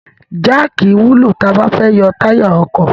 Jáàkì wúlò tí a bá fẹ́ yọ táyà ọkọ̀.